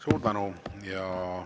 Suur tänu!